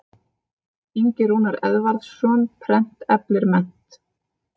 Ingi Rúnar Eðvarðsson, Prent eflir mennt.